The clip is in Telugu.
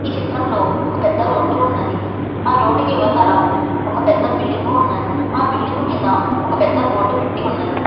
చిత్రంలో ఒక పెద్ద రోడ్డు ఉన్నది. ఆ రోడ్డు కి ఇవతల ఒక పెద్ద బిల్డింగు ఉన్నది. ఆ బిల్డింగు మీద ఒక పెద్ద బోర్డు పెట్టి ఉన్నది.